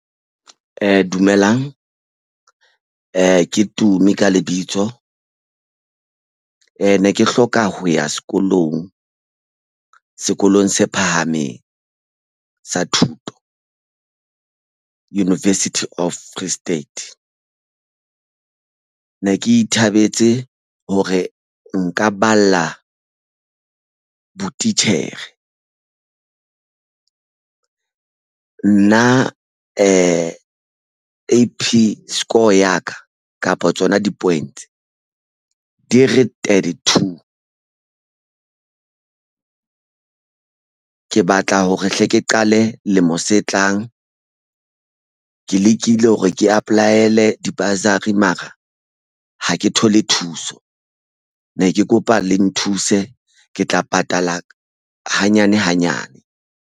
Dumelang ke Tumi ka lebitso e ne ke hloka ho ya sekolong. Sekolong se phahameng sa thuto University of Free State ne ke ithabetse hore nka balla botitjhere nna A_P score ya ka kapa tsona di-points di re thirty two ke batla hore hle ke qale lemo se tlang. Ke lekile hore ke apply-ele di bursary mara ha ke thole thuso ne ke kopa le nthuse ke tla patala hanyane hanyane.